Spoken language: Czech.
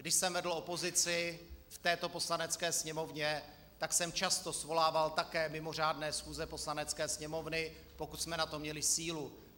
Když jsem vedl opozici v této Poslanecké sněmovně, tak jsem často svolával také mimořádné schůze Poslanecké sněmovny, pokud jsme na to měli sílu.